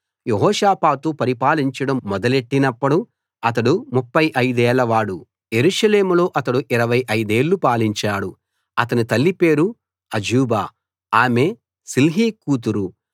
యెహోషాపాతు పరిపాలించడం మొదలెట్టినప్పుడు అతడు ముప్ఫై అయిదేళ్ళ వాడు యెరూషలేములో అతడు ఇరవై ఐదేళ్ళు పాలించాడు అతని తల్లి పేరు అజూబా ఆమె షిల్హీ కూతురు